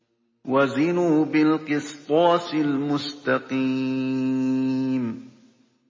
وَزِنُوا بِالْقِسْطَاسِ الْمُسْتَقِيمِ